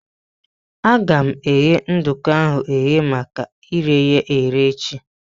Aga eghe nduku ahụ eghe maka ire ya ere echi.